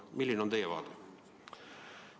Milline on teie seisukoht?